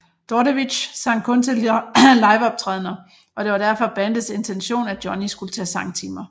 Dordevic sang kun til liveoptrædener og det var derfor bandets intention at Johnny skulle tage sangtimer